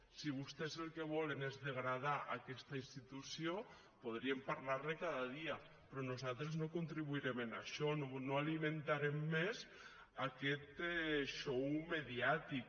si vostès el que volen és degradar aquesta institució podríem parlar ne cada dia però nosaltres no contribuirem en això no alimentarem més aquest xou mediàtic